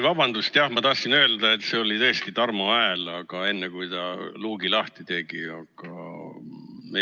Vabandust, jah, ma tahtsin öelda, et see oli tõesti Tarmo hääl, enne kui ta luugi lahti tegi.